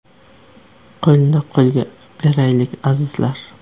Qo‘lni qo‘lga beraylik, azizlar!